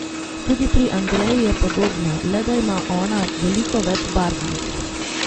Tudi pri Andreji je podobno, le da ima ona veliko več barvnih.